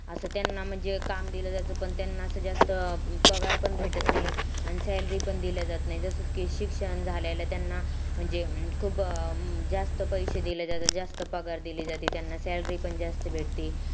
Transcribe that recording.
असं त्यांना काम दिल जातं पण त्यांना पगार पण भेटत नाही आणि salary पण दिल जातं नाही जसं शिक्षण झालेले त्यांना म्हणजे खूप जास्त पैसे दिल जातं जास्त पगार दिल जातं त्यांना salary पण जास्त भेटती